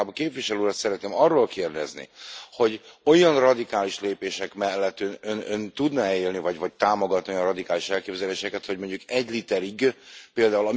De én inkább a képviselő urat szeretném arról kérdezni, hogy olyan radikális lépések mellett Ön tudna e élni vagy támogatni olyan radikális elképzeléseket, hogy mondjuk egy literig pl.